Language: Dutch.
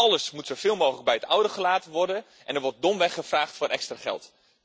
Alles moet zoveel mogelijk bij het oude gelaten worden, en er wordt domweg gevraagd om extra geld.